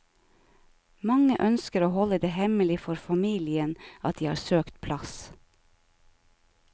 Mange ønsker å holde det hemmelig for familien at de har søkt plass.